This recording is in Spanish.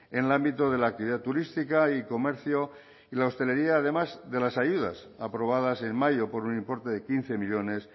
en el ámbito de la actividad turística y comercio y la hostelería además de las ayudas aprobadas en mayo por un importe de quince millónes